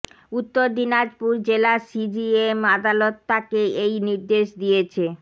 উত্তর দিনাজপুর জেলা সিজিএম আদালত তাকে এই নির্দেশ দিয়েছে